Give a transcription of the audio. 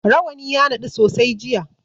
Rawani ya naɗu sosai jiya.